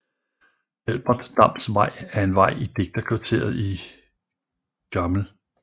Albert Dams Vej er en vej i digterkvarteret i Gl